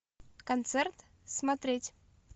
концерт смотреть